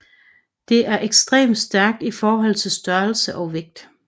Det er ekstremt stærkt i forhold til størrelse og vægt